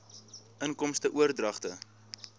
inkomste oordragte